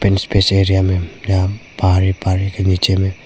area में यहां पहाड़ है पहाड़ के नीचे में--